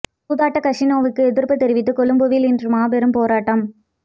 சூதாட்ட கஸினோவுக்கு எதிர்ப்புத் தெரிவித்து கொழும்பில் இன்று மாபெரும் போராட்டம்